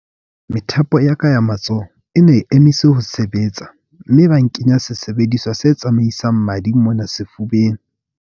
Methapo ya ka ya matsoho e ne e emise ho sebetsa mme ba nkenya sesebediswa se tsamaisang madi mona sefubeng.